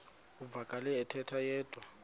uvakele ethetha yedwa